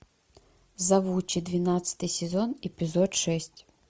завучи двенадцатый сезон эпизод шесть